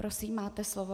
Prosím, máte slovo.